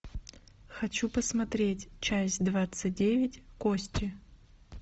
хочу посмотреть часть двадцать девять кости